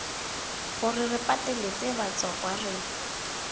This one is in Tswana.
gore re pateletse batswakwa re